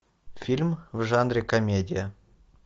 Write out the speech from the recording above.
фильм в жанре комедия